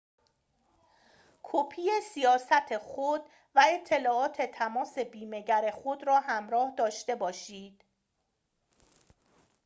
کپی سیاست خود و اطلاعات تماس بیمه‌گر خود را همراه داشته باشید